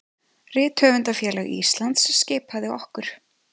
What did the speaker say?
Rithöfundafélag Íslands skipaði okkur